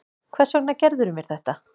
Hvers vegna gerðirðu mér þetta?